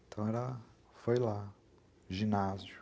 Então foi lá, ginásio.